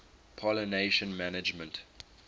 pollination management